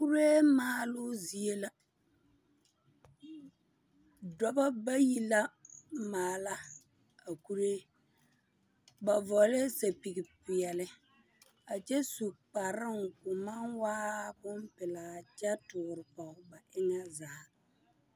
Kuree maaloo zie la. Dɔbɔ bayi la maala a kuree. Ba vɔglɛɛ sapigpeɛle, a kyɛ su kparoŋ ko maŋ waa bompelaa kyɛ toore pɔge ba eŋɛ zaa.